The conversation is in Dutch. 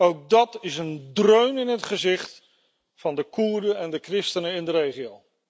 Ook dat is een dreun in het gezicht van de Koerden en de christenen in de regio.